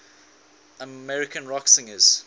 american rock singers